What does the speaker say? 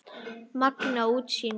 Magnað útsýni!